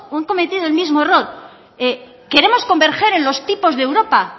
el mismo error queremos converger en los tipos de europa